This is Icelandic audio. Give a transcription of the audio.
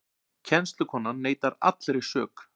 Kennslukonan neitar allri sök